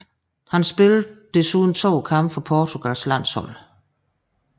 Han spillede desuden to kampe for Portugals landshold